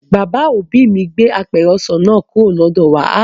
Bàbá òbí mi gbé apẹ̀rẹ̀ ọsàn náà kúrò lọ́dọ̀ wà